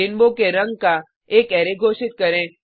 rainbow के रंग का एक अरै घोषित करें